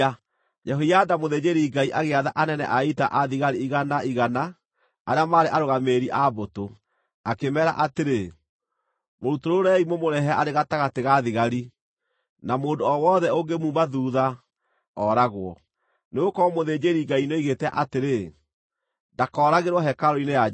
Jehoiada mũthĩnjĩri-Ngai agĩatha anene a ita a thigari igana igana arĩa maarĩ arũgamĩrĩri a mbũtũ, akĩmeera atĩrĩ, “Mũrutũrũrei, mũmũrehe arĩ gatagatĩ ga thigari, na mũndũ o wothe ũngĩmuuma thuutha, ooragwo.” Nĩgũkorwo mũthĩnjĩri-Ngai nĩoigĩte atĩrĩ, “Ndakooragĩrwo hekarũ-inĩ ya Jehova.”